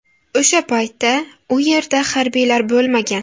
O‘sha paytda u yerda harbiylar bo‘lmagan.